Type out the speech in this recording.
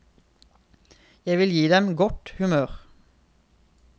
Jeg vil gi dem godt humør.